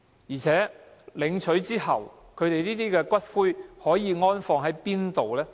而且，領取骨灰後，可以安放在哪裏呢？